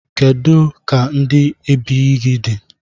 kedu ka ndi ebighị di?